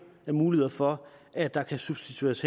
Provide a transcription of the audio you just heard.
af muligheder for at der kan substitueres